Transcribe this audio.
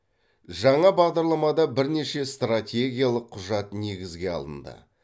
жаңа бағдарламада бірнеше стратегиялық құжат негізге алынды